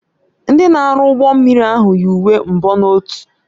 Ndị na-arụ ụgbọ mmiri ahụ yi uwe mbonotu.